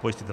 pojistitele.